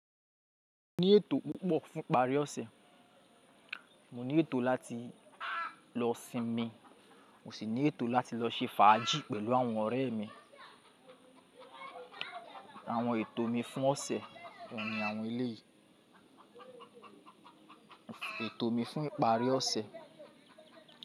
Mo ní ètò púpọ̀ fún ìparí ọ̀sẹ̀. Mo ní ètò láti lọ sinmi, mo sì ní ètò láti lọ ṣe fàájì pẹ̀lú àwọn ọ̀rẹ́ mi. Àwọn ètò mi fún ọ̀sẹ̀ oun ni àwọn eléyìí. Ètò mi fún ìparí ọ̀sẹ̀.